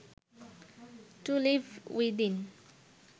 two live within